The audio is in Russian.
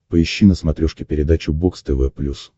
поищи на смотрешке передачу бокс тв плюс